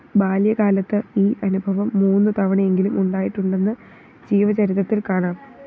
ബാല്യകാലത്ത് ഈ അനുഭവം മൂന്നു തവണയെങ്കിലും ഉണ്ടായിട്ടുണ്ടെന്ന് ജീവചരിത്രത്തില്‍ കാണാം